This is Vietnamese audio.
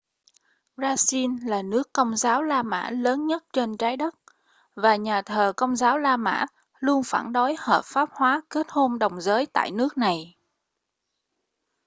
brazil là nước công giáo la mã lớn nhất trên trái đất và nhà thờ công giáo la mã luôn phản đối hợp pháp hóa kết hôn đồng giới tại nước này